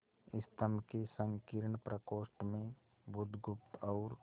स्तंभ के संकीर्ण प्रकोष्ठ में बुधगुप्त और